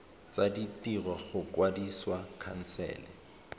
tsa ditiro go kwadisa khansele